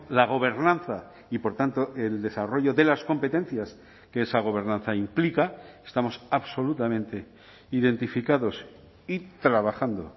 la gobernanza y por tanto el desarrollo de las competencias que esa gobernanza implica estamos absolutamente identificados y trabajando